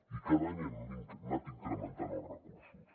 i cada any n’hem anat incrementant els recursos